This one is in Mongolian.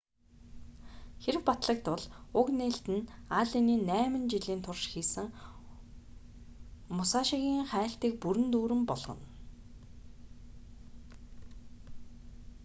хэрэв батлагдвал уг нээлт нь аллений найман жилийн турш хийсэн мусашигийн хайлтыг бүрэн дүүрэн болгоно